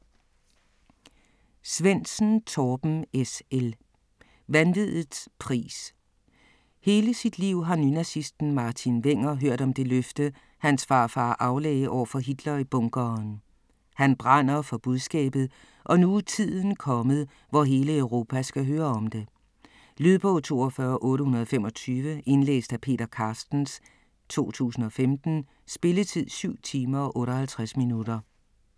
Svendsen, Torben S. L.: Vanviddets pris Hele sit liv har nynazisten Martin Wenger hørt om det løfte, hans farfar aflagde over for Hitler i bunkeren. Han brænder for budskabet, og nu er tiden kommet, hvor hele Europa skal høre om det. Lydbog 42825 Indlæst af Peter Carstens, 2015. Spilletid: 7 timer, 58 minutter.